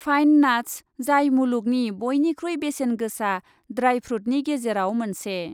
Fine nuts, जाय मुलुगनि बयनिखुइ बेसेन गोसा, ड्राइ फ्रुटनि गेजेराव मोनसे।